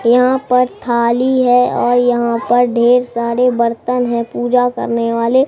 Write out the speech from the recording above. यहां पर खाली है और यहां पर ढेर सारे बर्तन है पूजा करने वाले।